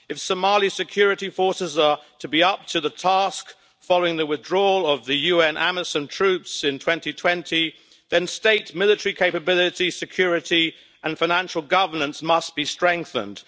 If Somali security forces are to be up to the task following the withdrawal of the UN Amisom troops in 2020, then state military capability, security and financial governance must be strengthened.